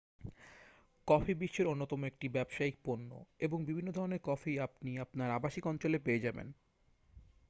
coffee বিশ্বের অন্যতম একটি ব্যবসায়িক পণ্য এবং বিভিন্ন ধরণের কফি আপনি আপনার আবাসিক অঞ্চলে পেয়ে যাবেন